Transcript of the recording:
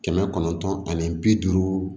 Kɛmɛ kɔnɔntɔn ani bi duuru